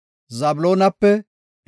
Niftaalemepe 53,400